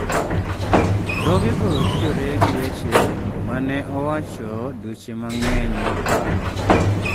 """Dhogego tudore gi weche ma ne owacho dweche mang'eny mokalo."